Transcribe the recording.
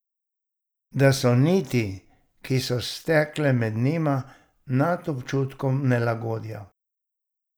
Da so niti, ki so stekle med njima, nad občutkom nelagodja.